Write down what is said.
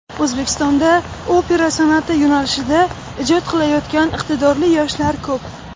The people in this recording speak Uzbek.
O‘zbekistonda opera san’ati yo‘nalishida ijod qilayotgan iqtidorli yoshlar ko‘p.